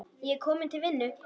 Ég er kominn til vinnu.